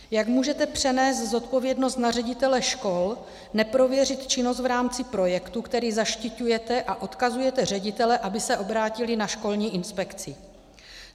Jak můžete přenést zodpovědnost na ředitele škol, neprověřit činnost v rámci projektu, který zaštiťujete, a odkazujete ředitele, aby se obrátili na školní inspekci?